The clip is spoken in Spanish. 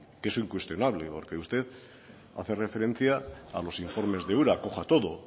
que es incuestionable porque usted hace referencia a los informes de ura coja todo